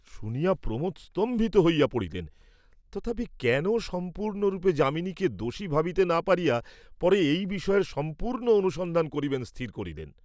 শুনিয়া প্রমোদ স্তম্ভিত হইয়া পড়িলেন, তথাপি কেন সম্পূর্ণরূপে যামিনীকে দোষী ভাবিতে না পারিয়া, পরে এই বিষয়ের সম্পূর্ণ অনুসন্ধান করিবেন স্থির করিলেন।